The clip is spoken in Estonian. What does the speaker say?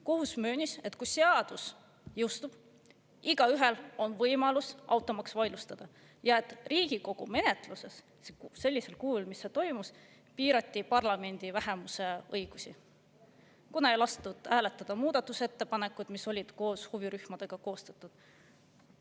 Kohus möönis, et kui seadus jõustub, on igaühel võimalus automaks vaidlustada, ja et Riigikogu menetles sellisel kujul, et piirati parlamendi vähemuse õigusi, kuna ei lastud hääletada muudatusettepanekuid, mis olid koos huvirühmadega koostatud.